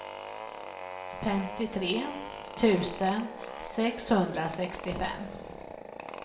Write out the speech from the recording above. femtiotre tusen sexhundrasextiofem